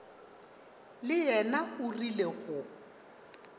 le yena o rile go